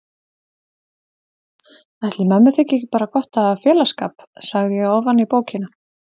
Ætli mömmu þyki ekki bara gott að hafa félagsskap, sagði ég ofan í bókina.